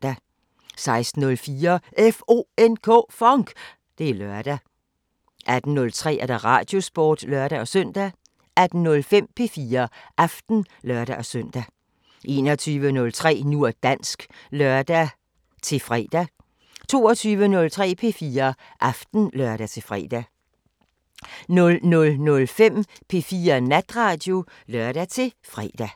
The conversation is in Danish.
16:04: FONK! Det er lørdag 18:03: Radiosporten (lør-søn) 18:05: P4 Aften (lør-søn) 21:03: Nu og dansk (lør-fre) 22:03: P4 Aften (lør-fre) 00:05: P4 Natradio (lør-fre)